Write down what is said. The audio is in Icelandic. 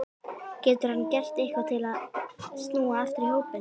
Getur hann gert eitthvað til að snúa aftur í hópinn?